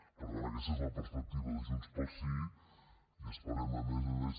per tant aquesta és la perspectiva de junts pel sí i esperem a més a més